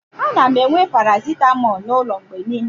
ana m enwe paracetamol n'ụlọ mgbe niile